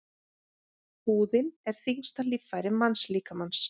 Húðin er þyngsta líffæri mannslíkamans.